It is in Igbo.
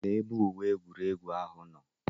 Lee ebe uwe egwuregwu ahụ nọ.